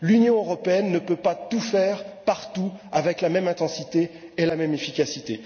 L'Union européenne ne peut pas tout faire, partout, avec la même intensité et la même efficacité.